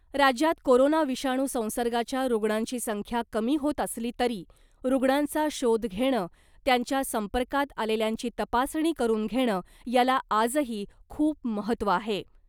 राज्यात कोरोना विषाणू संसर्गाच्या रुग्णांची संख्या कमी होत असली तरी , रुग्णांचा शोध घेणं , त्यांच्या संपर्कात आलेल्यांची तपासणी करून घेणं , याला आजही खूप महत्त्व आहे .